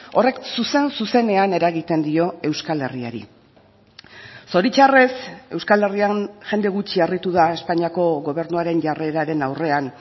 horrek zuzen zuzenean eragiten dio euskal herriari zoritzarrez euskal herrian jende gutxi harritu da espainiako gobernuaren jarreraren aurrean